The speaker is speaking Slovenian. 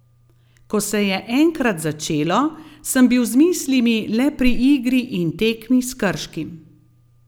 Ko se je enkrat začelo, sem bil z mislimi le pri igri in tekmi s Krškim.